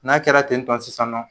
N'a kɛra ten tɔn sisan nɔ